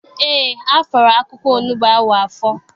Eé, afọrọ akwụkwọ onugbu ahụ afọ.